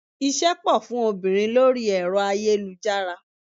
Iṣẹ́ pò fún obìnrin lórí ẹ̀rọ ayélujára.